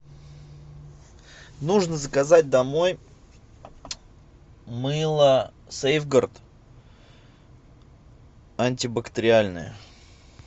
нужно заказать домой мыло сейфгард антибактериальное